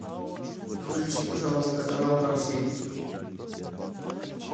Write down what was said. включи пожалуйста канал карусель